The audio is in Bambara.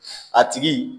A tigi